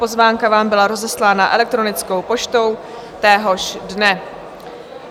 Pozvánka vám byla rozeslána elektronickou poštou téhož dne.